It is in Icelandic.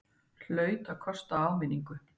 Hlaut að kosta áminningu!